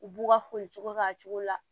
U b'u ka foli k'a cogo la